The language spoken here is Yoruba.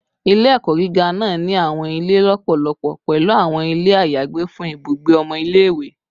Ile-ẹkọ giga naa ni awọn ile lọpọlọpọ, pẹlu awọn ile ayagbe fun ibugbe ọmọ ile-iwe